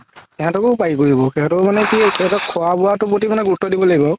সেহেতকও পাৰি কৰিব সেহেতৰ মানে কি সেহেতৰ খুৱা বুৱাতোৰ প্ৰতি গুৰুত্ব দিব লাগিব আৰু